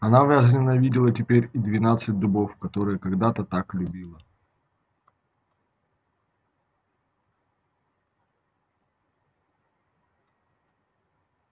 она возненавидела теперь и двенадцать дубов которые когда-то так любила